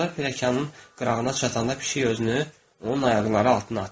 Onlar pilləkanın qırağına çatanda pişik özünü onun ayaqları altına atır.